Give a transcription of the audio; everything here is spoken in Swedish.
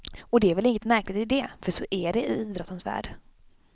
Och det är väl inget märkligt i det, för så är det i idrottens värld.